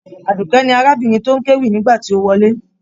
Adukẹ́ ni arábìnrin tó n k'ewí nígbàtí o wọlé.